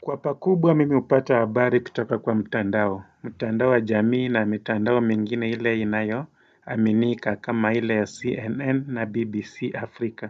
Kwa pakubwa mimi hupata habari kutoka kwa mtandao, mtandao wa jamii na mitandao mingine ile inayoaminika kama ile ya CNN na BBC Africa.